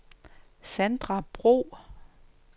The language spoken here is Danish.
Sandra Bro